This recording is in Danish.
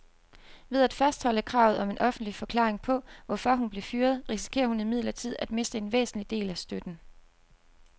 Ved at fastholde kravet om en offentlig forklaring på, hvorfor hun blev fyret, risikerer hun imidlertid at miste en væsentlig del af støtten.